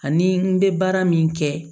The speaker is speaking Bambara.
Ani n bɛ baara min kɛ